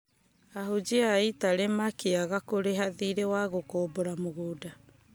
ahunjia a italĩ makĩaga kũrĩga thiirĩ wa gũkombora mũgũnda